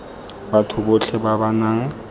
batho botlhe ba ba nang